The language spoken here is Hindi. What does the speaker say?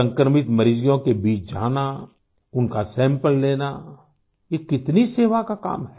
संक्रमित मरीजों के बीच जाना उनका सैंपल लेना ये कितनी सेवा का काम है